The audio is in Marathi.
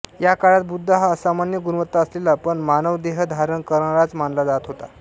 या काळात बुद्ध हा असामान्य गुणवत्ता असलेला पण मानवदेह धारण करणाराच मानला जात होता